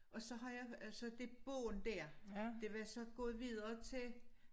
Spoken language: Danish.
Og så har jeg så det bånd dér det var så gået videre til